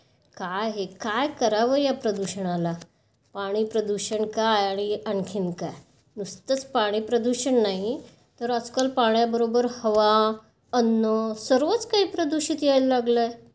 काय हे? काय करावं या प्रदूषणाला? पाणी प्रदूषण काय नि आणखीन काय. नुसतेच पाणी प्रदूषण नाही तर आजकाल पाण्याबरोबर हवा, अन्न सगळंच काही प्रदूषित यायला लागलं आहे.